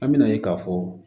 An me na ye k'a fɔ